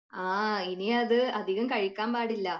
ആ ഇനിയത് അധികം കഴിക്കാൻ പാടില്ല.